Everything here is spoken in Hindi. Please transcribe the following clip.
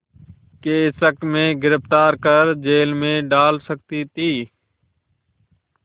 के शक में गिरफ़्तार कर जेल में डाल सकती थी